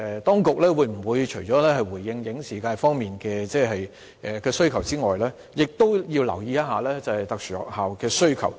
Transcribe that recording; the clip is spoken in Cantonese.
當局除了回應影視界方面的需求，其實也要留意特殊學校的需求。